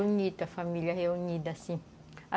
Bonita a família reunida, assim.